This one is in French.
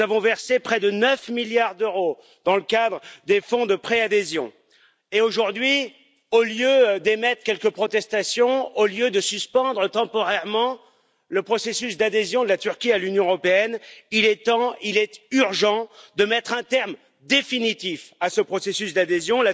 Nous avons versé près de 9 milliards d'euros dans le cadre des fonds de préadhésion et, aujourd'hui, au lieu d'émettre quelques protestations, au lieu de suspendre temporairement le processus d'adhésion de la Turquie à l'Union européenne, il est temps, il est urgent de mettre un terme définitif à ce processus d'adhésion.